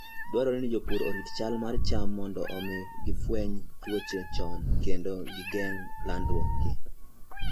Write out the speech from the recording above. Dwarore ni jopur orit chal mar cham mondo omi gifweny tuoche chon kendo geng'o landruokgi.